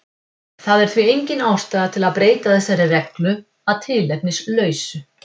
Það er því engin ástæða til að breyta þessari reglu að tilefnislausu.